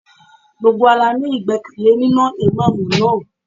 Gbogbo wa la ní ìgbẹ́kẹ̀lé nínú Ìmámúù náà.